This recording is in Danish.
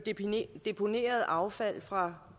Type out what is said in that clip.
deponeret affald fra